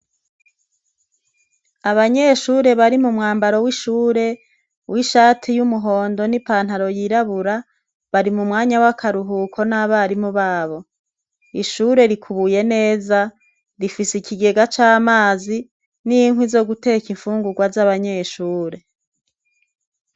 Abanyeshure bari mumwambaro w’ishure, w’ishati y’umuhondo n’ipantaro yirabura, bari mumwanya w’akaruhuko n’abarimu babo. Ishure rikubuye neza, rifis’ikigega c’amazi n’inkwi zo guteka infungugwa z’abanyeshure .